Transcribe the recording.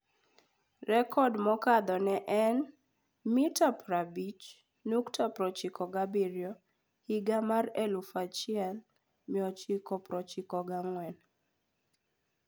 Rekod mokadho ne en 50.27m higa mar 1994.